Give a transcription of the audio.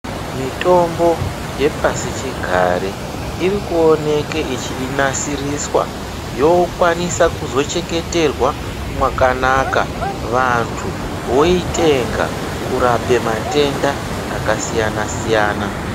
Mitombo yepasichigare iri kuoneka yechinasiriswa yokwanisa kuzochengeterwa mwakanaka vandu voitenga kurape matenda akasiyana siyana.